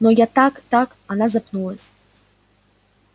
но я так так она запнулась